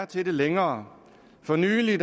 til det længere for nylig